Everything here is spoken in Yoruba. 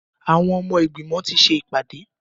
Àwọn ọmọ ìgbìmọ̀ ti ṣe ìpàdé.